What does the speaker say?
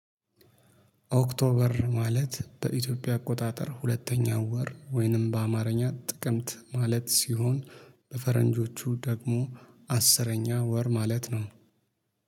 ኦክቶበር ማለት በኢትዮጵያ አቆጣጠር ሁለተኛ ወር ወይንም በአማርኛ ጥቅምት ማለት ሲሆን በፈረንጆቹ ደግሞ አስረኛ ወር ማለት ነው